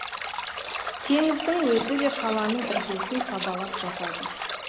теңіздің өзі де қаланың іргесін сабалап жатады